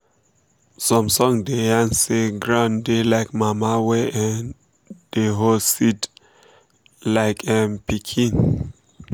som song da yan say ground da like mama wey um da hol seed like em um pikin um